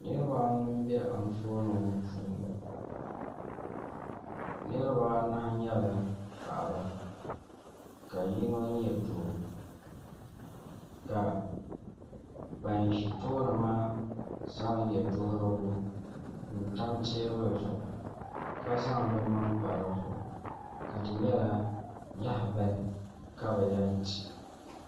Nirabaanu n bɛ anfooni ŋo puuni nirabaanahi nyɛla paɣaba ka yino nyɛ doo ka ban ʒi tooni maa zaŋ yɛ duɣurigu n tam teebuli zuɣu ka zaŋ bi maŋa pa di zuɣu ka di nyɛla lahabali ka bi yɛn ti